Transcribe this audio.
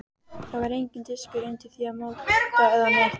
Það var enginn diskur undir því eða motta eða neitt.